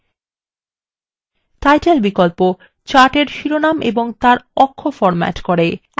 title বিকল্প chart এর শিরোনাম এবং তার অক্ষ formats করে